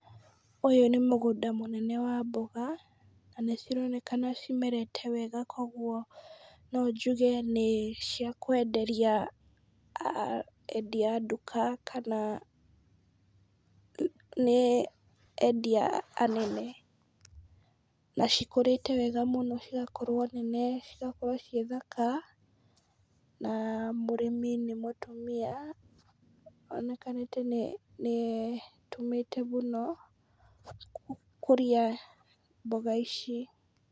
Ũyũ nĩ mũgũnda mũnene wa mboga, na nĩ cironeka cimerete wega , kogwo no njuge nĩ cia kwenderia endia a nduka kana[puase] nĩ endia anene, na cikũrĩte wega mũno cigakorwo nene, cigakorwo ciĩ thaka, na mũrĩmi nĩ mũtumia onekanĩte nĩ etũmĩte mũno, gũkũria mboga ici.